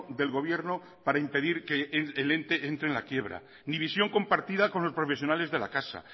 del gobierno para impedir que el ente entre en la quiebra ni visión compartida con los profesionales de la casa